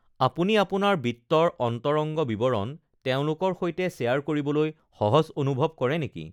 আপুনি আপোনাৰ বিত্তৰ অন্তৰংগ বিৱৰণ তেওঁলোকৰ সৈতে শ্বেয়ৰ কৰিবলৈ সহজ অনুভৱ কৰে নেকি?